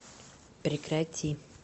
прекрати